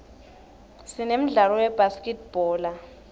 sinemdlalo webhaskidbhola